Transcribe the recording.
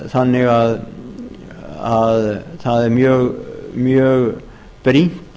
þannig að það er mjög brýnt